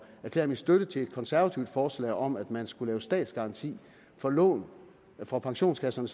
erklære min støtte til et konservativt forslag om at man skulle lave statsgaranti for lån fra pensionskasserne